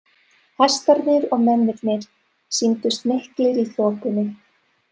Hestarnir og mennirnir sýndust miklir í þokunni.